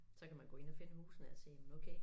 Så kan man gå ind og finde husene og sige men okay